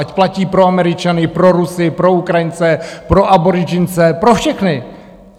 Ať platí pro Američany, pro Rusy, pro Ukrajince, pro Aboridžince, pro všechny.